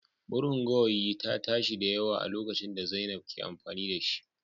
Murnar gawayi ta tashi da yawa a lokacin da zainab ke amfani da shi